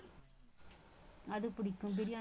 அது பிடிக்கும் birya~